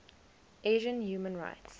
asian human rights